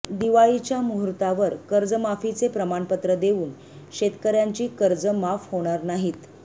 दिवाळीच्या मुहूर्तावर कर्जमाफीचे प्रमाणपत्र देवून शेतकऱयांची कर्ज माफ होणार नाहीत